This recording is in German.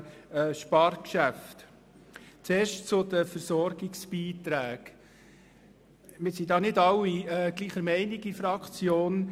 Zuerst zu den Versorgungsbeiträgen: Wir sind nicht alle gleicher Meinung in der Fraktion.